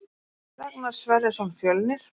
Ragnar Sverrisson Fjölnir